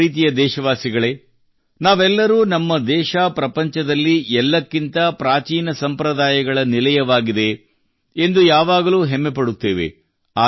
ನನ್ನ ಪ್ರೀತಿಯ ದೇಶವಾಸಿಗಳೇ ನಾವೆಲ್ಲರೂ ನಮ್ಮ ದೇಶ ಪ್ರಪಂಚದಲ್ಲಿ ಎಲ್ಲಕ್ಕಿಂತ ಪ್ರಾಚೀನ ಸಂಪ್ರದಾಯಗಳ ನಿಲಯವಾಗಿದೆ ಎಂದು ಯಾವಾಗಲೂ ಹೆಮ್ಮೆ ಪಡುತ್ತೇವೆ